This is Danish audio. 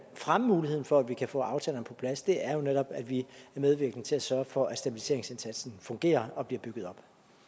fremme muligheden for at vi kan få aftalerne på plads er jo netop at vi er medvirkende til at sørge for at stabiliseringsindsatsen fungerer og bliver bygget op